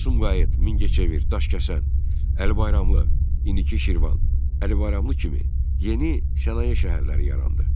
Sumqayıt, Mingəçevir, Daşkəsən, Əli Bayramlı, indiki Şirvan, Əli Bayramlı kimi yeni sənaye şəhərləri yarandı.